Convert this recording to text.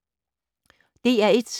DR1